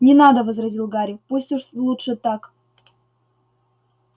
не надо возразил гарри пусть уж лучше так